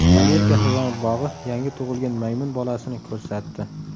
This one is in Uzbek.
Amerika hayvonot bog‘i yangi tug‘ilgan maymun bolasini ko‘rsatdi .